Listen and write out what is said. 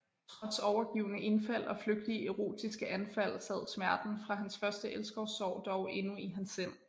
Trods overgivne indfald og flygtige erotiske anfald sad smerten fra hans første elskovssorg dog endnu i hans sind